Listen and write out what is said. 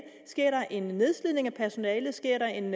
sker der en nedslidning af personalet sker der en